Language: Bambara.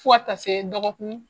F'a ta se dɔgɔkun.